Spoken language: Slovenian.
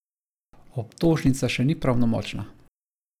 Obtožnica še ni pravnomočna.